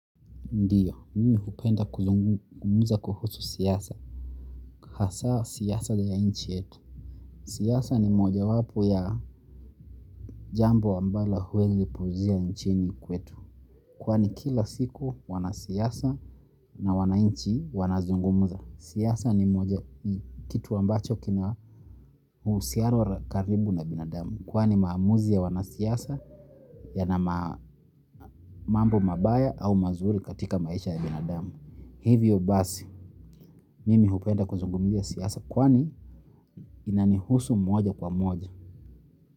Ndiyo, mimi hupenda kuzungumuza kuhusu siyasa, hasa siyasa ya inchi yetu. Siyasa ni moja wapo ya jambo ambalo huezi puzia inchini kwetu. Kwani kila siku wana siyasa na wana inchi wana zungumuza. Siyasa ni moja kitu ambacho kina usiaro karibu na binadamu. Kwani maamuzi ya wana siyasa ya na mambo mabaya au mazuri katika maisha ya binadamu. Hivyo basi, mimi hupenda kuzungumia siyasa kwani inanihusu moja kwa moja.